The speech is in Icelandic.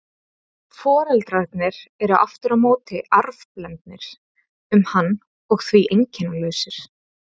Foreldrarnir eru aftur á móti arfblendnir um hann og því einkennalausir.